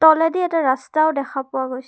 তলেদি এটা ৰাস্তাও দেখা পোৱা গৈছে।